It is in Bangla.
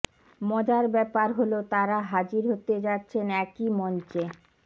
মজার ব্যাপার হলো তারা হাজির হতে যাচ্ছেন একই মঞ্চে